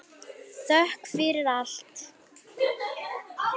Þökk fyrir allt.